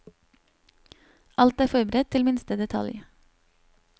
Alt er forberedt til minste detalj.